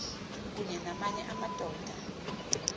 kunye namanye amadoda